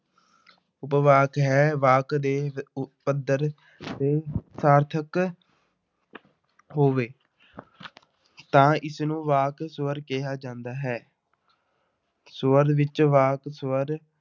ਉਪਵਾਕ ਹੈ ਵਾਕ ਦੇ ਪੱਧਰ ਤੇ ਸਾਰਥਕ ਹੋਵੇ ਤਾਂ ਇਸਨੂੰ ਵਾਕ ਸਵਰ ਕਿਹਾ ਜਾਂਦਾ ਹੈ ਸਵਰ ਵਿੱਚ ਵਾਕ ਸਵਰ